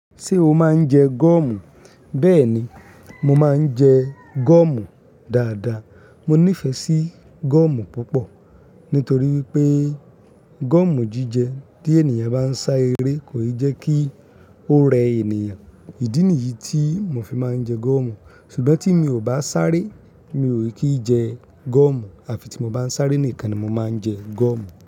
Ṣé o máa ń jẹ gọ̀mù? Bẹ́ẹ̀ni, mo máa ń jẹ gọ̀mù dáadáa. Mo nífẹ̀ẹ́ sí gọ̀mù púpọ̀ nítorí pé gọ̀mù jíjẹ tí ènìyàn bá ń sá eré kò i jekí ó rẹ ènìyàn. Ìdí nìyí tí mo fi máa ń jẹ gúọ̀mù. Ṣùgbọ́n tí mi ò bá sáré, mi ò kí jẹ gọ̀mù àfi tí mo bá ń sáré nìkan ni mo máa ń jẹ gọ̀mù.